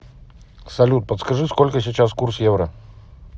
салют подскажи сколько сейчас курс евро